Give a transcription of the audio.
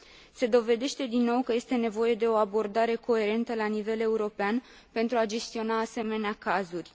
Se dovedește din nou că este nevoie de o abordare coerentă la nivel european pentru a gestiona asemenea cazuri.